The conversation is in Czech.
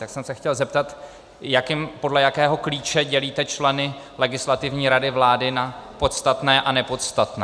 Tak jsem se chtěl zeptat, podle jakého klíče dělíte členy Legislativní rady vlády na podstatné a nepodstatné.